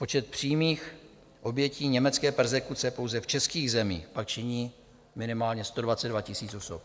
Počet přímých obětí německé perzekuce pouze v českých zemích pak činí minimálně 122 000 osob.